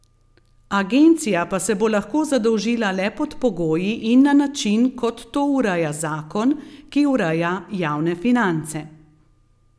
Agencija pa se bo lahko zadolžila le pod pogoji in na način, kot to ureja zakon, ki ureja javne finance.